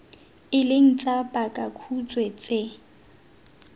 e leng tsa pakakhutshwe tse